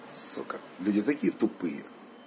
сука люди такие тупые